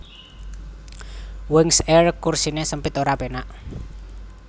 Wings Air kursine sempit ora penak